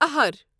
اہر